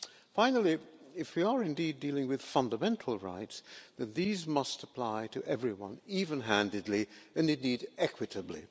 Finally, if we are indeed dealing with fundamental rights, these must apply to everyone, even handedly and indeed equitably.